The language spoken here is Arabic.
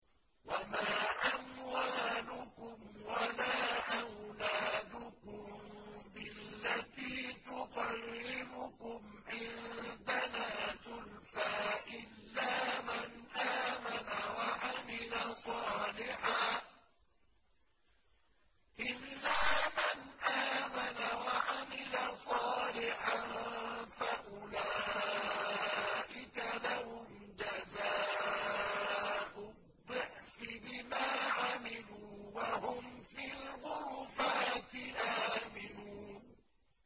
وَمَا أَمْوَالُكُمْ وَلَا أَوْلَادُكُم بِالَّتِي تُقَرِّبُكُمْ عِندَنَا زُلْفَىٰ إِلَّا مَنْ آمَنَ وَعَمِلَ صَالِحًا فَأُولَٰئِكَ لَهُمْ جَزَاءُ الضِّعْفِ بِمَا عَمِلُوا وَهُمْ فِي الْغُرُفَاتِ آمِنُونَ